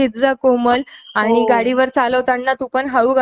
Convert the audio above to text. आणि ह्या sound pollution पासून थोडासा सावध राहा